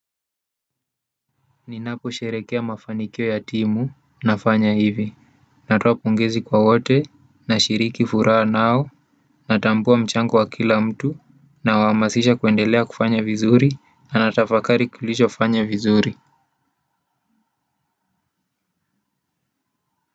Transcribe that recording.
Ninaposherekea mafanikio ya timu, nafanya hivi, natoa pongezi kwa wote, nashiriki furaha nao, natambua mchango wa kila mtu, nawahamasisha kuendelea kufanya vizuri, na natafakari kilichofanya vizuri.